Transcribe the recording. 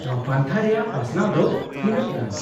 -ᱱᱚᱶᱟ ᱯᱟᱱᱛᱷᱟ ᱨᱮᱭᱟᱜ ᱯᱟᱥᱱᱟᱣ ᱫᱚ ᱛᱤᱱᱟᱹᱜ ᱜᱟᱱ ?